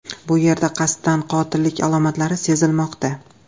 Bu yerda qasddan qotillik alomatlari sezilmoqda.